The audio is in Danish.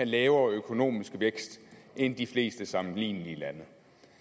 lavere økonomisk vækst end i de fleste andre sammenlignelige lande